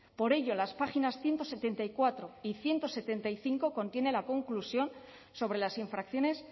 por ello las páginas ciento setenta y cuatro y ciento setenta y cinco contienen la conclusión sobre las infracciones